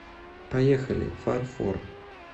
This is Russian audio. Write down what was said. поехали фарфор